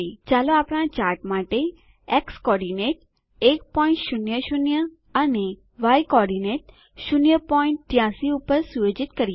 ચાલો આપણા ચાર્ટ માટે એક્સ કોર્ડીનેટ નિર્દેશક 100 અને ય કોર્ડીનેટ નિર્દેશક 083 પર સુયોજિત કરીએ